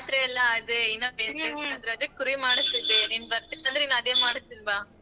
ಜಾತ್ರೆಯಲ್ಲ ಆದ್ರೆ ಇನ್ನ ರಜಕ್ ಕುರಿ ಮಾಡ್ಸ್ತಿದ್ದೆ ನೀನ್ ಬರ್ತಿನ್ ಅಂದ್ರೆ ಅದೇ ಮಾಡ್ಸ್ತೀನ್ ಬಾ.